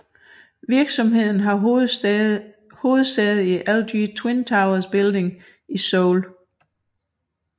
Virksomheden har hovedsæde i LG Twin Towers building i Seoul